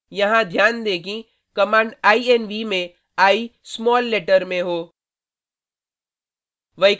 यह ध्यान दें कि कमांड inv में i स्माल लेटर में हो